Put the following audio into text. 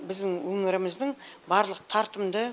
біздің өңіріміздің барлық тартымды